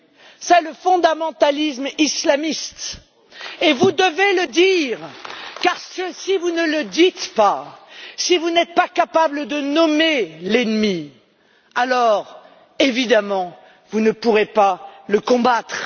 C'est le fondamentalisme islamiste et vous devez le dire, car si vous ne le dites pas, si vous n'êtes pas capables de nommer l'ennemi, alors évidemment vous ne pourrez pas le combattre.